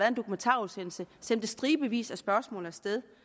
en dokumentarudsendelse sendte stribevis af spørgsmål af sted